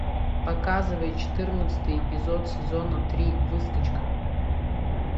показывай четырнадцатый эпизод сезона три выскочка